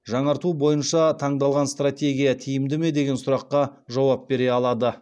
жаңарту бойынша таңдалған стратегия тиімді ме деген сұраққа жауап бере алады